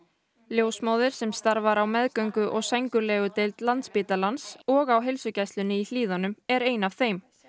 ljósmóðir sem starfar á meðgöngu og sængurlegudeild Landspítalans og á heilsugæslunni í Hlíðum er ein af þeim